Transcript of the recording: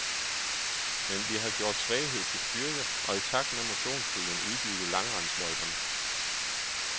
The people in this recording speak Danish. Men vi har gjort svaghed til styrke og i takt med motionsbølgen udbygget langrendsløjperne.